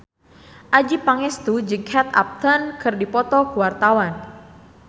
Adjie Pangestu jeung Kate Upton keur dipoto ku wartawan